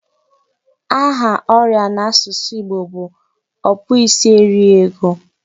Aha oria isi n'asusu Igbo bụ okpuisieriego.